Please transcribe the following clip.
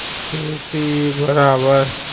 ખેતી બરાબર.